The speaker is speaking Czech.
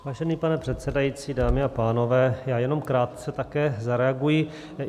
Vážený pane předsedající, dámy a pánové, já jenom krátce také zareaguji.